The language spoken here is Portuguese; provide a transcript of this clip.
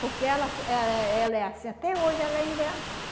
Porque ela fo ela ela é assim, até hoje ela ainda é assim.